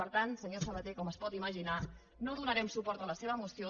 per tant senyor sabaté com es pot imaginar no donarem suport a la seva moció